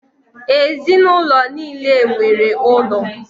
Ezinụlọ nile nwere ụlọ.